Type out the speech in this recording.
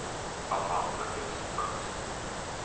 afhanklikes vigs